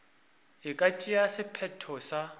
e ka tšea sephetho sa